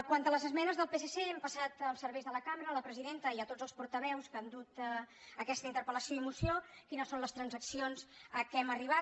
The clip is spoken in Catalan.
quant a les esmenes del psc hem passat als serveis de la cambra a la presidenta i a tots els portaveus que han dut aquesta interpel·lació i moció quines són les transaccions a què hem arribat